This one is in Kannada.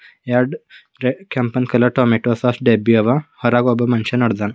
ಎರಡ್ ರೆಡ್ ಕೆಂಪನ್ ಕಲರ್ ಟೊಮ್ಯಾಟೋ ಸಾಸ್ ಡಬ್ಬಿಯಾವ ಹೊರಗ್ ಒಬ್ಬ ಮನುಷ್ಯ ನಡ್ದನ.